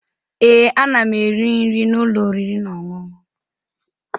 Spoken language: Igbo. Ee, ana m eri nri n'ụlọ oriri na ọṅụṅụ